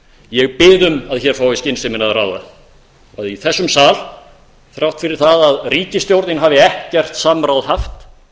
ég bið um að hér fái skynsemin að ráða að í þessum sal þrátt fyrir það að ríkisstjórnin hafi ekkert samráð haft